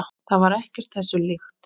Það var ekkert þessu líkt.